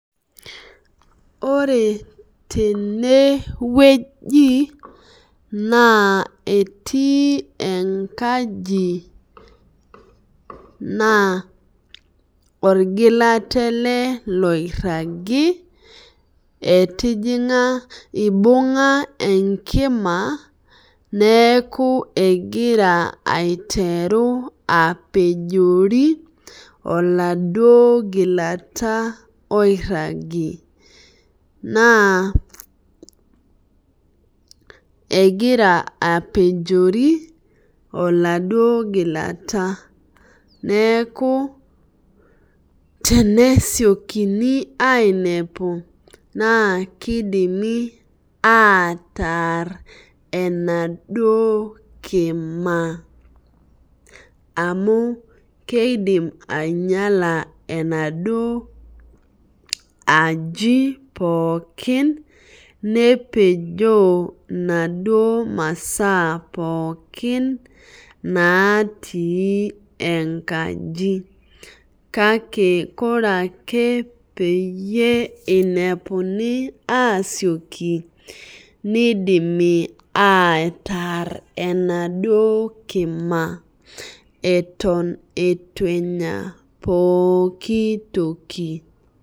Ore tenewueji elnaabetii enkaji na orgilata eleboiragibeibinga enkima neakubegira aitwru apejori oladuo gilata airagie na egira apejori oladuo gilata neaku tenesiokini ainepu na kidimi ataar enaduo kima amu keidim ainyala enaduo ajibpolki nepejoo naduo masaa pooki natiike enkaji kake ore peinepuni asioki nidimi ataar enaduo kima eton itienya pooki toki .